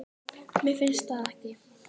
Mér finnst það ekki